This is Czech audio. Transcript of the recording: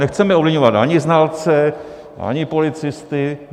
Nechceme ovlivňovat ani znalce, ani policisty.